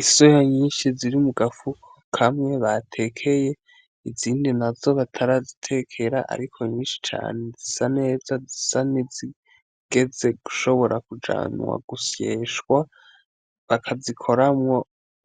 Isoya nyinshi ziri mugafuko kamwe batekeye; izindi nazo batarazitekera ariko nyinshi cane, zisa neza , zisa nizigeze gushobora kujanwa gusyeshwa bakizikoramwo